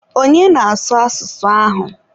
onye na-asụ asụsụ ahụ?